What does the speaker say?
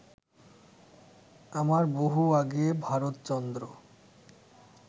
আমার বহু আগে ভারতচন্দ্র